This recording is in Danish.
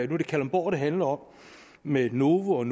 det kalundborg det handler om med novo og